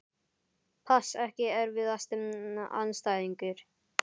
pass Ekki erfiðasti andstæðingur?